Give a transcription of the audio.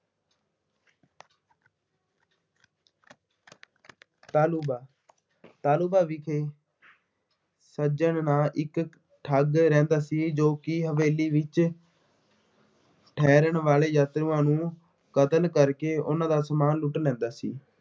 ਤਾਲੁੰਬਾ ਤਾਲੁੰਬਾ ਵਿਖੇ ਸੱਜਣ ਨਾਂ ਇੱਕ ਠੱਗ ਰਹਿੰਦਾ ਸੀ। ਜੋ ਕਿ ਹਵੇਲੀ ਵਿੱਚ ਠਹਿਰਣ ਵਾਲੇ ਯਾਤਰੂਆਂ ਨੂੰ ਕਤਲ ਕਰਕੇ ਉਹਨਾ ਦਾ ਸਮਾਨ ਲੁੱਟ ਲੈਂਦਾ ਸੀ।